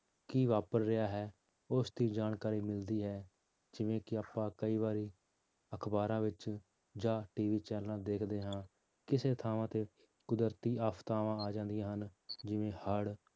ਕੀ ਵਾਪਰ ਰਿਹਾ ਹੈ ਉਸਦੀ ਜਾਣਕਾਰੀ ਮਿਲਦੀ ਹੈ, ਜਿਵੇਂ ਕਿ ਆਪਾਂ ਕਈ ਵਾਰੀ ਅਖ਼ਬਾਰਾਂ ਵਿੱਚ ਜਾਂ TV channel ਦੇਖਦੇ ਹਾਂ ਕਿਸੇ ਥਾਂ ਤੇ ਕੁਦਰਤੀ ਆਫ਼ਤਾਵਾਂ ਆ ਜਾਂਦੀਆਂ ਹਨ, ਜਿਵੇਂ ਹੜ੍ਹ